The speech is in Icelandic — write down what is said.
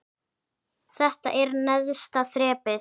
Þetta er neðsta þrepið.